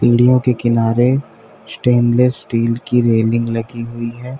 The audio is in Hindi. सीढ़ियों के किनारे स्टेनलेस स्टील की रेलिंग लगी हुई है।